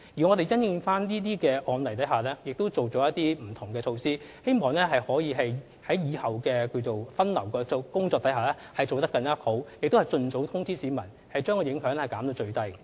我們已因應這些案例提出不同改善措施，希望日後的分流工作可以做得更好，並且盡早通知市民，將影響減至最低。